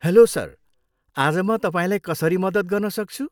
Hello, sir. आज म तपाईँलाई कसरी मद्दत गर्न सक्छु?